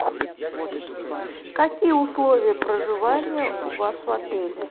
какие условия проживания у вас в отеле